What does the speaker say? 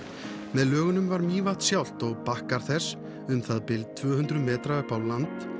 með lögunum var Mývatn sjálft og bakkar þess um það bil tvö hundruð metra upp á land